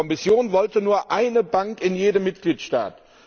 Die Kommission wollte nur eine Bank in jedem Mitgliedstaat.